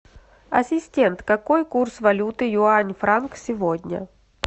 ассистент какой курс валюты юань франк сегодня